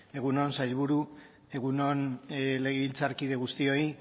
egun on sailburu egun on legebiltzarkide guztioi